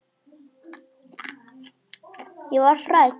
Ég varð hrædd.